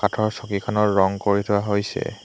কাঠৰ চকীখনৰ ৰঙ কৰি থোৱা হৈছে।